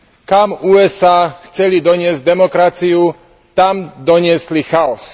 Kam USA chceli doniesť demokraciu, tam doniesli chaos.